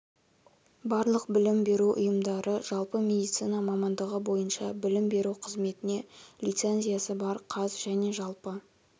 барлық білім беру ұйымдары жалпы медицина мамандығы бойынша білім беру қызметіне лицензиясы бар қаз және жалпы